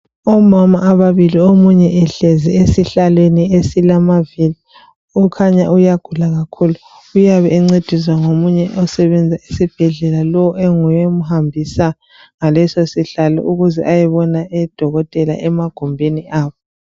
Omama ababili omunye ehlezi esihlalweni esilamaviri okhanya uyagula kakhulu uyabe encediswa ngomunye osebenza esibhedlela lo enguye omhambisa ngaleso sihlalo ukuze ayebona odokotela emagumbini abo.